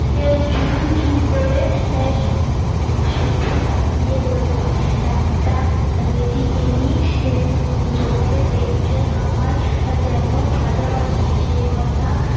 করে শুধু তাকিয়ে রইলাম একটা লেডিকেনি চোখে দেখতে আমার যেন ভালোবাসি সে কথা